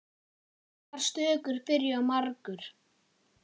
Margar stökur byrja á margur.